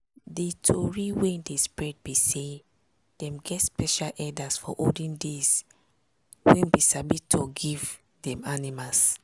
di tori wey dey spread be say dem get special herders for olden days wey bin sabi talk give dem animals.